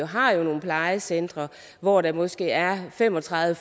har jo nogle plejecentre hvor der måske er fem og tredive